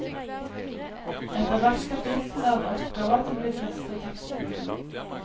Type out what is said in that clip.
Etter hvert kapittel er det oppgaver til de fleste tekstene.